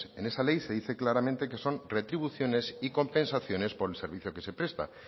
en esa ley se dice claramente que son retribuciones y compensaciones por el servicio que se presta